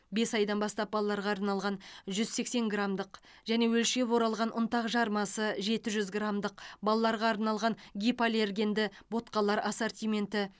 бес айдан бастап балаларға арналған жүз сексен граммдық және өлшеп оралған ұнтақ жармасы жеті жүз граммдық балаларға арналған гипоаллергенді ботқалар ассортименті